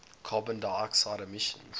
carbon dioxide emissions